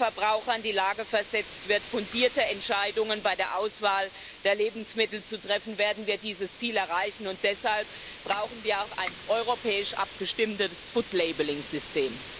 Nur wenn der Verbraucher in die Lage versetzt wird, fundierte Entscheidungen bei der Auswahl der Lebensmittel zu treffen, werden wir dieses Ziel erreichen, und deshalb brauchen wir auch ein europäisch abgestimmtes System.